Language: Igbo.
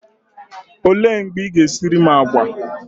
Olee mgbe Ị ga-esiri m àgwà?